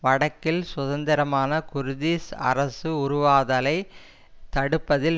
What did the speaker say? வடக்கில் சுதந்திரமான குர்திஷ் அரசு உருவாதலைத் தடுப்பதில்